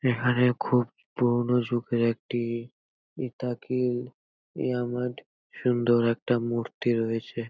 এখানে খুব পুরনো যুগের একটি-ই ইতাকিল ইয়ামদ সুন্দর একটা মূর্তি রয়েছে।